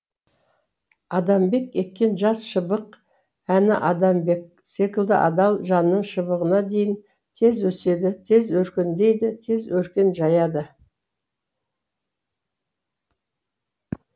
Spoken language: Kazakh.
адамбек еккен жас шыбық әні адамбек секілді адал жанның шыбығына дейін тез өседі тез өркендейді тез өркен жаяды